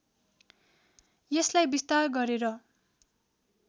यसलाई विस्तार गरेर